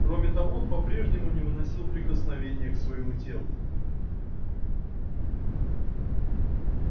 кроме того он по прежнему не выносил прикосновения к своему телу